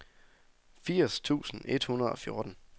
firs tusind et hundrede og fjorten